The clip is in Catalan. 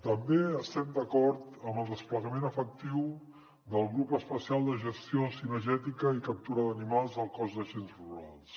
també estem d’acord amb el desplegament efectiu del grup especial de gestió cinegètica i captura d’animals del cos d’agents rurals